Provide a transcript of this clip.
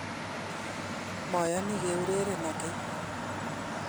moyanii keurerenon ageny.